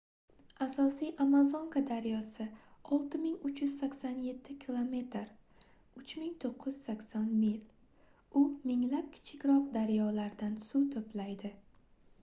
asosiy amazonka daryosi — 6387 km 3980 mil. u minglab kichikroq daryolardan suv to'playdi